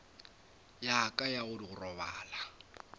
ya ka ya go robala